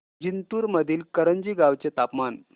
जिंतूर मधील करंजी गावाचे तापमान